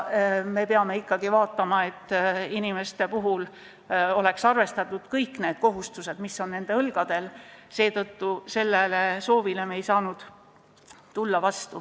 Me peame ikkagi vaatama, et oleks arvestatud kõiki kohustusi, mis on nende õlgadel, seetõttu ei saanud me sellele soovile vastu tulla.